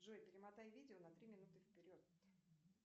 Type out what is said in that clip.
джой перемотай видео на три минуты вперед